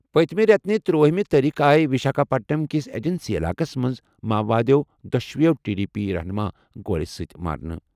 پٔتمہِ رٮ۪تہٕ ترٛوٲہِمہِ تٲریٖخہٕ آیہِ وِشاکھاپٹنم کِس ایجنسی علاقس منٛز ماؤوادَو دۄشوٕے ٹی ڈی پی رہنُما گولہِ سۭتۍ مارنہٕ۔